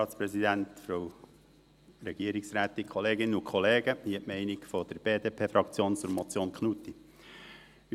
Hier die Meinung der BDP-Fraktion zur Motion Knutti